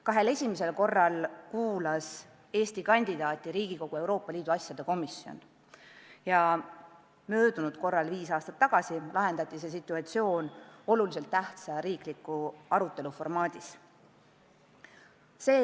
Kahel esimesel korral kuulas Eesti kandidaati Riigikogu Euroopa Liidu asjade komisjon ja eelmisel korral, viis aastat tagasi lahendati see küsimus olulise tähtsusega riikliku küsimuse arutelu formaadis.